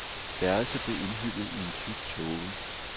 Værelset blev indhyllet i tyk tåge.